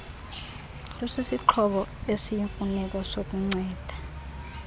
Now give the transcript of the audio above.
lusisixhobo esiyimfuneko sokunceda